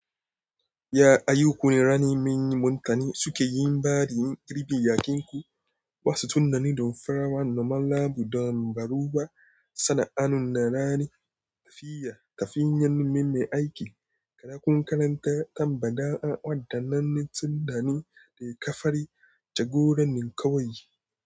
Ya a yi kunne rani, manyan mutane suke yin bada yin girbin yakinku. Ba su tunani da farawa normal labu donbaru ba. Sana'an na rani tafiya tafiyanin me aiki. Kada ku karanta tambada an wadaninne siddani da ka fari jagoranin kawai.